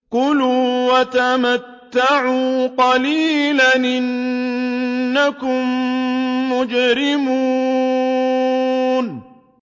كُلُوا وَتَمَتَّعُوا قَلِيلًا إِنَّكُم مُّجْرِمُونَ